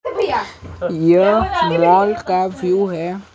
यह मॉल का व्यू है।